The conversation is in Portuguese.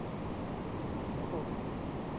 Eu vou.